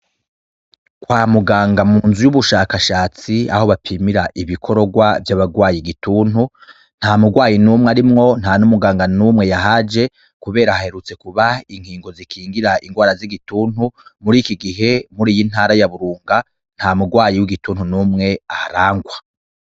Kwa mugang , mu nzu y'ubushakashatsi, aho bapimira ibikororwa vy'abagwaye igituntu, nta mugwayi n'umwe arimwo, nta n'umuganga n'umwe yahaje, kubera haherutse kuba ingingo zikingira ingwara z'igituntu. Muri iki gihe, muri iyi ntara ya Burunga, nta mugwayi w'igituntu n'umwe aharangwa.